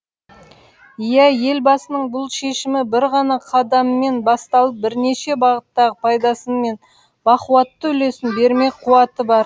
иә елбасының бұл шешімі бір ғана қадаммен басталып бірнеше бағыттағы пайдасын мен бақуатты үлесін бермек қуаты бар